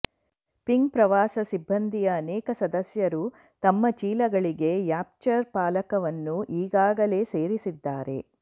ping ಪ್ರವಾಸ ಸಿಬ್ಬಂದಿಯ ಅನೇಕ ಸದಸ್ಯರು ತಮ್ಮ ಚೀಲಗಳಿಗೆ ರ್ಯಾಪ್ಚರ್ ಚಾಲಕವನ್ನು ಈಗಾಗಲೇ ಸೇರಿಸಿದ್ದಾರೆ